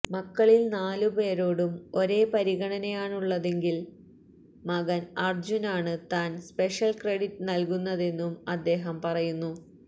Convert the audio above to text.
മക്കളിൽ നാലുപേരോടും ഒരേ പരിഗണനയാണുള്ളതെങ്കിലും മകൻ അർജ്ജുനാണ് താൻ സ്പെഷ്യൽ ക്രെഡിറ്റ് നൽകുന്നതെന്നും അദ്ദേഹം പറയുന്നു